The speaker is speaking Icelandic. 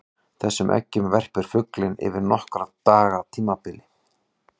Þessum eggjum verpir fuglinn yfir nokkurra daga tímabil.